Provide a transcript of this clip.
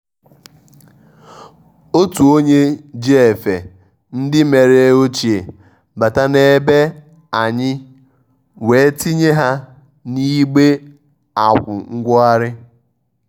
ótú ónyé jí éfé ndí mèré óchíé bátá n’ébé á ànyị́ wéé tínyé há n’ígbé ákwụ̀ nwóghárí.